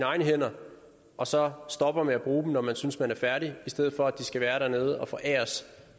egne hænder og så stopper med at bruge dem når man synes at man er færdig i stedet for at de skal være dernede og foræres